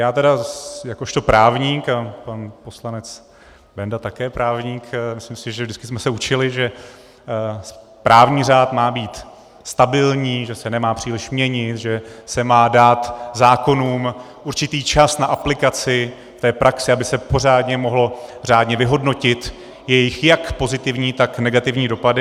Já tedy jakožto právník, a pan poslanec Benda také právník, myslím si, že vždycky jsme se učili, že právní řád má být stabilní, že se nemá příliš měnit, že se má dát zákonům určitý čas na aplikaci v praxi, aby se pořádně mohly řádně vyhodnotit jejich jak pozitivní, tak negativní dopady.